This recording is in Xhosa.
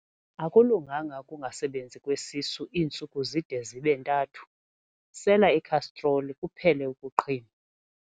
Akulunganga ukungasebenzi kwesisu iintsuku zide zibe ntathu, sela ikhastroli kuphele ukuqhinwa.